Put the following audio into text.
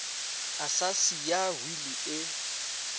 a sa siya wili e